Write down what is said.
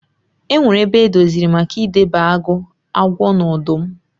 E nwere ebe edoziri maka ị debe agụ, agwọ na ọdụm.